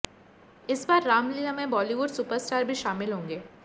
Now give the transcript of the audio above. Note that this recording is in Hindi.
इस बार रामलीला में बॉलीवुड सुपर स्टार भी शामिल होंगे